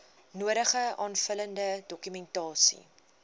nodige aanvullende dokumentasie